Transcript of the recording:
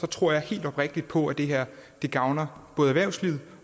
tror helt oprigtigt på at det her gavner både erhvervslivet